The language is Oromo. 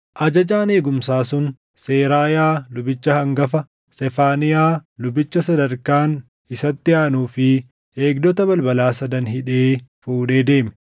Ajajaan eegumsaa sun, Seraayaa lubicha hangafa, Sefaaniyaa lubicha Sadarkaan isatti aanuu fi eegdota balbalaa sadan hidhee fuudhee deeme.